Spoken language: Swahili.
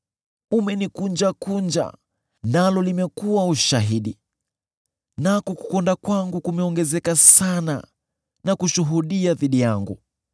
Umenikunjakunja, nalo limekuwa ushahidi; nako kukonda kwangu kumeongezeka sana na kushuhudia dhidi yangu.